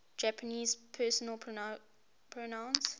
japanese personal pronouns